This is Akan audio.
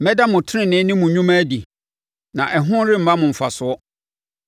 Mɛda mo tenenee ne mo nnwuma adi, na ɛho remma mo mfasoɔ.